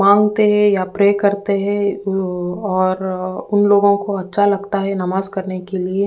मांगते है या प्रे करते है उ और उन लोगो को अच्छा लगता है नमाज करने के लिए।